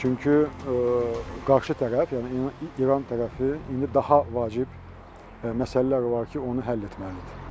Çünki qarşı tərəf, yəni İran tərəfi indi daha vacib məsələlər var ki, onu həll etməlidir.